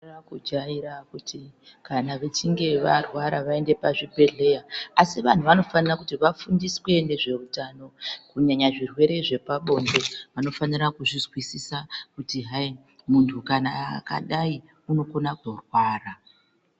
....kujaira kuti kana vechinge varwara vaende pazvibhedhleya. Asi vantu vanofanira kuti vafundiswe nezveutano, kunyanya zvirwere zvepabonde vanofana kuzvizwisisa kuti hai kana muntu akadai unokona kurwara.